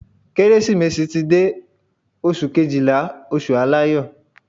Kérésìmesì ti dé o. Oṣù Kejìlá, oṣù aláyọ̀.